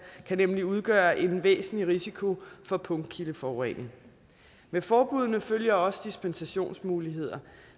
kan nemlig udgøre en væsentlig risiko for punktkildeforurening med forbuddene følger også dispensationsmuligheder